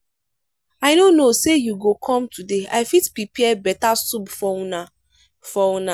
i no know say you go com today i fit prepare beta soup for una for una